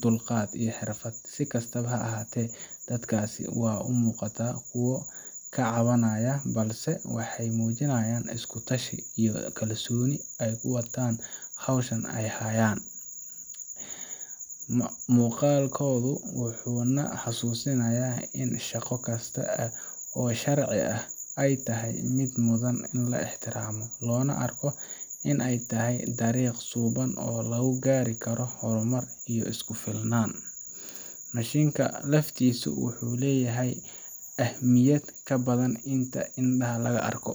dul qaad iyo xirfad si kastaba ha ahate dadkaasi waa umuuqataa kuwo kacabanayan balse waxay mujinayan isku tashi iyo kalsooni ay uwataan howshan ay hayaan, muqalkoodu wuxuu na xasuusinaya in shaqa kista oo sharci ah ay tahay mid mudan ini la ixtiramo lona arko inay tahay taariq suuban oo lugu gaari karo horumar iyo isku filnan, mashinka naftiisu wuxuu leyahay ahmiyad kabadan inta indhaha laga arko